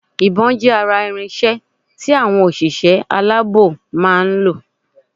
Ìbón jé ara irinsé tí àwọn òṣìṣẹ́ aláàbò máa nlò